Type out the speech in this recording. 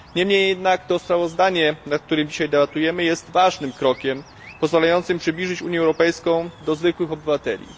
Niemniej jednak to sprawozdanie, nad którym dzisiaj debatujemy jest ważnym krokiem, pozwalającym przybliżyć Unię Europejską do zwykłych obywateli.